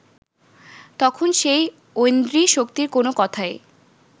তখন সেই ঐন্দ্রী শক্তির কোন কথাই